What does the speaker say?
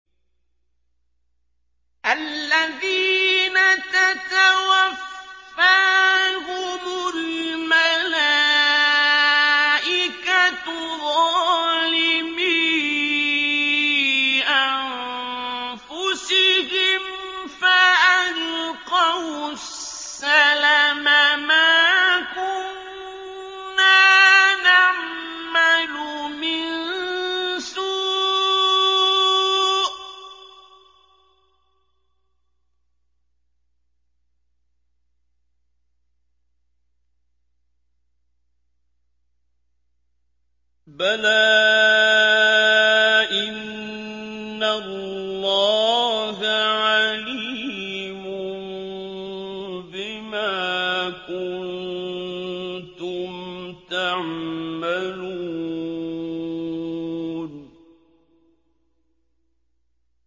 الَّذِينَ تَتَوَفَّاهُمُ الْمَلَائِكَةُ ظَالِمِي أَنفُسِهِمْ ۖ فَأَلْقَوُا السَّلَمَ مَا كُنَّا نَعْمَلُ مِن سُوءٍ ۚ بَلَىٰ إِنَّ اللَّهَ عَلِيمٌ بِمَا كُنتُمْ تَعْمَلُونَ